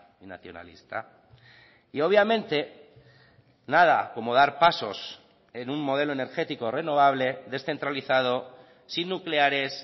y nacionalista y obviamente nada como dar pasos en un modelo energético renovable descentralizado sin nucleares